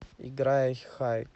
играй хайд